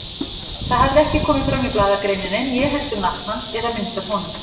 Það hafði ekki komið fram í blaðagreininni, né heldur nafn hans eða mynd af honum.